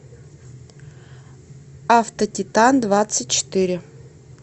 автотитандвадцатьчетыре